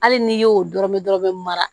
Hali n'i y'o dɔrɔnmɛ dɔrɔn bɛ mara